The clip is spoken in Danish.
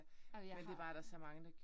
Ej men jeg har